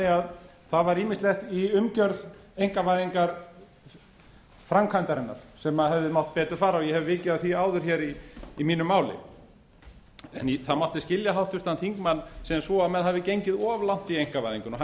að það var ýmislegt í umgjörð einkavæðingarframkvæmdarinnar sem hefði mátt betur fara og ég hef vikið að því áður hér í mínu máli það mátti skilja háttvirtan þingmann sem svo að menn hafi gengið of langt i einkavæðingu og hann